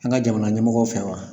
An ka jamana ɲɛmɔgɔ fɛ wa.